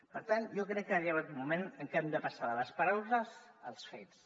per tant jo crec que ha arribat un moment en què hem de passar de les paraules als fets